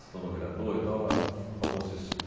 Se tornou vereador e tal, ela é fa famosíssima.